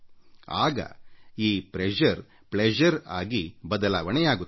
ಆಗ ಈ pressure pleasure ಆಗಿ ಬದಲಾವಣೆಯಾಗುತ್ತದೆ